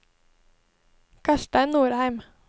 Karstein Norheim